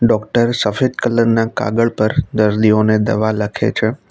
Doctor સફેદ colour ના કાગળ પર દર્દીઓને દવા લખે છે.